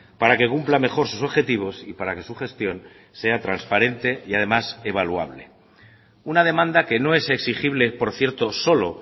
para que cumpla mejor sus objetivos y para que su gestión sea transparente y además evaluable una demanda que no es exigible por cierto solo